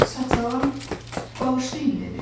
Sağsağan, bağışlayın dedi.